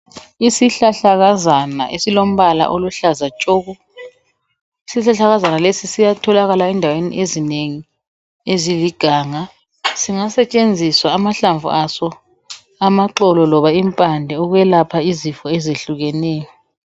Isihlahlakazana esilombala oluhlaza tshoko. Isihlahlakazana lesi siyatholakala endaweni ezinengi eziliganga singasetshenziswa amahlamvu aso amaxo loba impande ukwelapha izifo ezehlukeneyo.